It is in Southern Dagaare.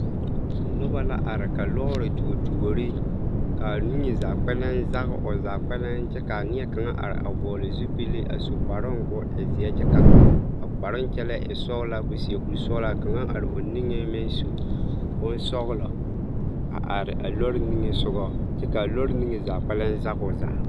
Nobɔ la are ka lɔɔre tuo tuore kaa niŋe zaa kpɛlɛm zage o zaa kpɛlɛm kyɛ kaa neɛ kaŋa are a vɔgli zupile su kparoo koo e zeɛ kyɛ ka a kproo kyɛlɛɛ a e sɔglaa koo su koresɔglaa ka kaŋa are o niŋeŋ meŋ su bonsɔglɔ are a lɔɔre niŋesogɔ kyɛ kaa lɔɔre niŋe zaa kpɛlɛm zage o zaa.